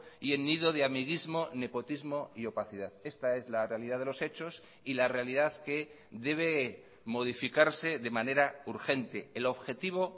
y en nido de amiguismo nepotismo y opacidad esta es la realidad de los hechos y la realidad que debe modificarse de manera urgente el objetivo